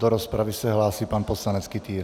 Do rozpravy se hlásí pan poslanec Kytýr.